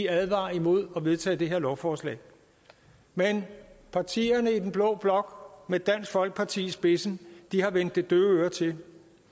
advarer imod at vedtage det her lovforslag men partierne i den blå blok med dansk folkeparti i spidsen har vendt det døve øre til